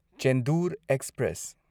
Chendur express